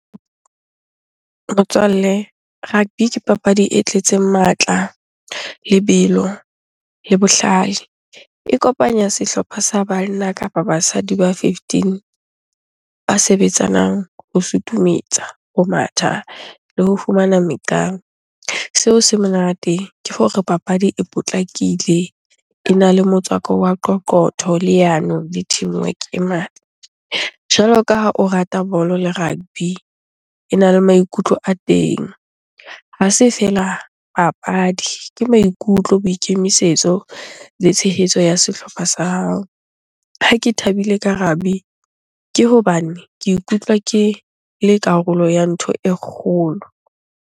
Motswalle, rugby ke papadi e tletseng matla, lebelo le bohlale. E kopanya sehlopha sa banna kapa basadi ba fifteen ba sebetsanang ho suthumetsa, ho matha le ho fumana . Seo se monate ke hore papadi e potlakile, ena le motswako wa qoqotho, leano le teamwork e ngata. Jwalo ka ha o rata bolo le rugby, ena le maikutlo a teng. Ha se feela papadi ke maikutlo, boikemisetso le tshehetso ya sehlopha sa hao. Ha ke thabile ka rugby, ke hobane ke ikutlwa ke le karolo ya ntho e kgolo.